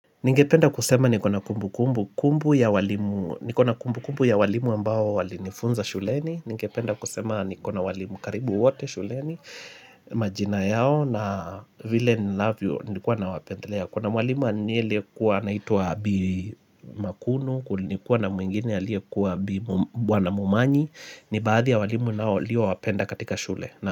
Ningependa kusema niko na kumbukumbu ya walimu ambao walinifunza shuleni. Ningependa kusema niko na walimu karibu wote shuleni, majina yao na vile ninavyo nilikuwa nawapendelea. Kuna walimu aliyekuwa anaituwa bi makunu, kulikuwa na mwingine aliyekuwa bi wana mumanyi. Ni baadhi ya walimu nilio wapenda katika shule.